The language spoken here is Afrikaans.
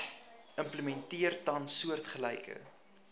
implementeer tans soortgelyke